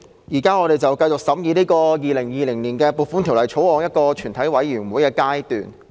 主席，我們現正繼續進行《2020年撥款條例草案》的全體委員會審議。